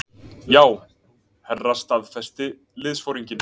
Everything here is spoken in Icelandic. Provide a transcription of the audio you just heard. Já, herra staðfesti liðsforinginn.